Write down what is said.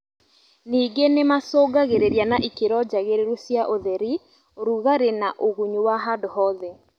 Nĩngĩ nĩmacongagĩrĩria na ikĩro njagĩrĩru cia ũtheri, ũrigarĩ na ũgunyu wa handũ hothe